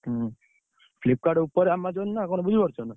ହୁଁ Flipkart ଉପରେ Amazon ନା କଣ ବୁଝିପାରୁଛନା।